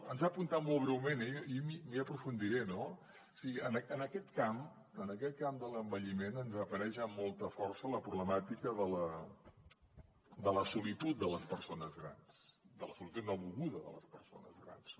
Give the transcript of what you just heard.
ens ho ha apuntat molt breument eh i hi aprofundiré no o sigui en aquest camp en aquest camp de l’envelliment ens apareix amb molta força la problemàtica de la solitud de les persones grans de la solitud no volguda de les persones grans